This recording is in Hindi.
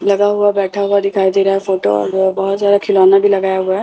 लगा हुआ बैठा हुआ दिखाई दे रहा है फोटो और वो बहोत ज्यादा खिलौना भी लगाया हुआ है।